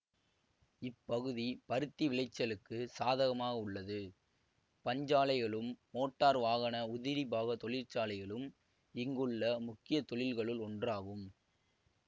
இப்பகுதி பருத்தி விளைச்சலுக்கு சாதகமாக உள்ளது பஞ்சாலைகளும் மோட்டார் வாகன உதிரிபாக தொழிற்சாலைகளும் இங்குள்ள முக்கிய தொழில்களுள் ஒன்றாகும்